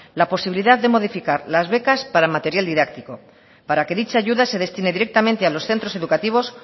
la posibilidad de modificar las becas para material didáctico para que dicha ayuda se destine directamente a los centros educativos